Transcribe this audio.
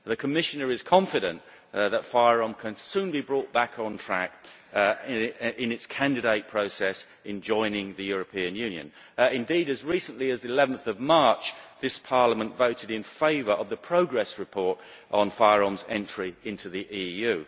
The Commissioner is confident that FYROM can soon be brought back on track in its candidate process in joining the European Union. Indeed, as recently as 11 March this Parliament voted in favour of the progress report on FYROM's entry into the EU.